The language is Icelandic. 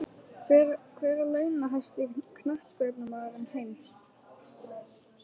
Hver er launahæsti Knattspyrnumaður heims?